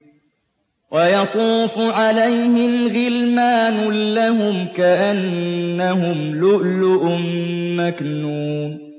۞ وَيَطُوفُ عَلَيْهِمْ غِلْمَانٌ لَّهُمْ كَأَنَّهُمْ لُؤْلُؤٌ مَّكْنُونٌ